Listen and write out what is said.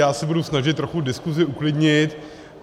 Já se budu snažit trochu diskusi uklidnit.